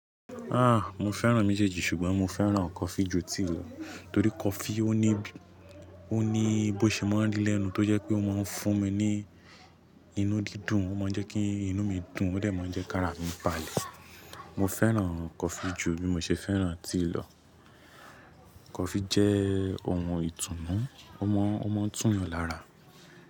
Ah! Mo fẹ́ràn méjèèjì ṣùgbọ́n mo fẹ́ràn coffee ju tea lọ, torí coffee ó ní, ó ní bó ṣemọ́rí lẹ́nu tó jẹ́ pé ó máa ń fún mi ní inú dídùn, ó máa ń jẹ́ kí inú mi dùn ó dẹ̀ máa ń jẹ́ kí ara mi balẹ̀. Mo fẹ́ràn coffee ju bí mo ṣe fẹ́ràn tíì lọ. Coffee jẹ́ ohun ìtùnú, ó máa ń, ó máa ń tún mi lára.